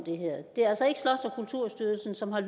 kulturstyrelsen som har